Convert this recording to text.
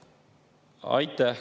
Aitäh!